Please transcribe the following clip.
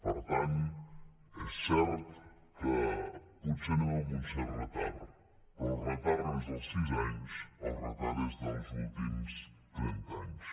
per tant és cert que potser anem amb un cert retard però el retard no és dels sis anys el retard és dels últims trenta anys